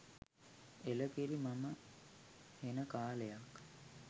එලකිරි මම හෙන කාලයක්